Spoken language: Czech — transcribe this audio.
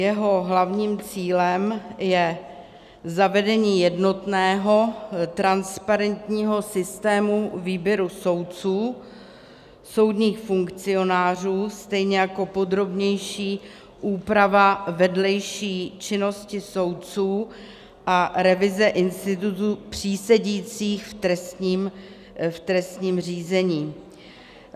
Jeho hlavním cílem je zavedení jednotného transparentního systému výběru soudců, soudních funkcionářů, stejně jako podrobnější úprava vedlejší činnosti soudců a revize institutu přísedících v trestním řízení.